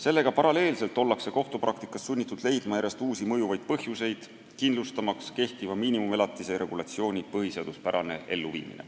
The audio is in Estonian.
Sellega paralleelselt ollakse kohtupraktikas sunnitud leidma järjest uusi mõjuvaid põhjuseid, kindlustamaks kehtiva miinimumelatise regulatsiooni põhiseaduspärane kasutamine.